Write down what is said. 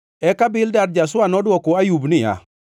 Eka Bildad ja-Shua nodwoko Ayub niya,